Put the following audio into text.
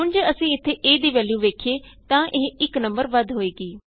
ਹੁਣ ਜੇ ਅਸੀਂ ਇਥੇ a ਦੀ ਵੈਲਯੂ ਵੇਖੀਏ ਤਾਂ ਇਹ 1 ਨੰਬਰ ਵੱਧ ਹੋਏਗੀ